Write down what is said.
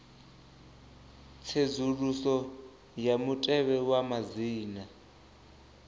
tsedzuluso ya mutevhe wa madzina